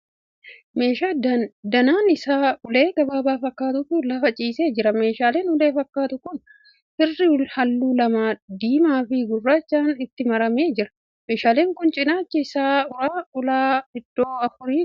Meeshaa danaan isaa ulee gabaabaa fakkaatutu lafa ciisee jira. Meeshaan ulee fakkaatu kun kirrii halluu lamaa, diimaa fi gurraachaan itti maramee jira. Meeshaan kun cinaacha isaa irraa ulaa iddoo afurii qaba.